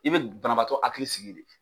I bɛ banabaatɔ hakili sigi de .